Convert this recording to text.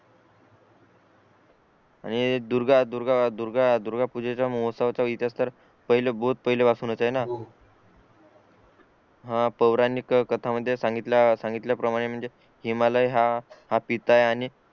आणि दुर्गा पूजेचा महोत्सव तर हिथ तर पहिला बहोत पहिल्या पासूनच आहे ना हा पौराणिक कथा मध्ये सांगितलं सांगितल्याप्रमाणे म्हणजे हिमालय हा पिता आहे आणि